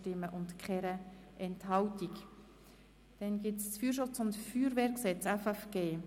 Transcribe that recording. Abstimmung (Art. 187 mit folgender Ergänzung: